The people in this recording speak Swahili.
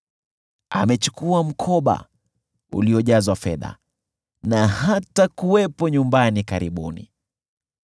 Amechukua mkoba uliojazwa fedha na hatakuwepo nyumbani karibuni.”